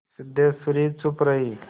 सिद्धेश्वरी चुप रही